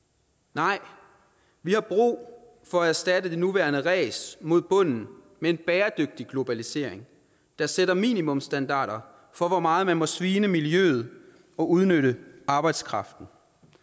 nej vi har brug for at erstatte det nuværende ræs mod bunden med en bæredygtig globalisering der sætter minimumsstandarder for hvor meget man må svine i miljøet og udnytte arbejdskraften